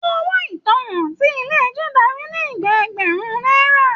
Owó ìtanràn tí ilé ẹjọ darí ní igba ẹgbẹrun náírà.